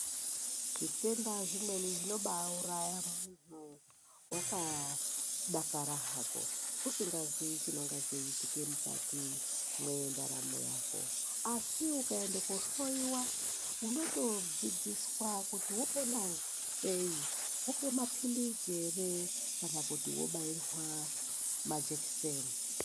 Zvitenda zvimweni zvinobauraya vakadakara hako usingaziyi chinonga cheiitike mukati mwendaramo yako. Asi ukaende koohloyiwa unotodzidziswa kuti vopona sei vopiwe mapilizii ere kana kuti vobairwa majekiseni.